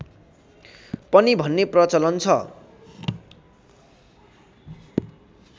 पनि भन्ने प्रचलन छ